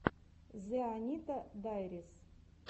зэ анита дайрис